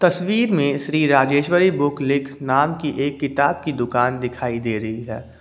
तस्वीर में श्री राजेश्वरी बुक लेख नाम की एक दुकान दिखाई दे रही है।